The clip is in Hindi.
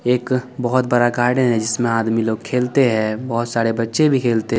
एक बहोत बड़ा गार्डन है जिसमे आदमी लोग खेलते है बहोत सारे बच्चे भी खेलते --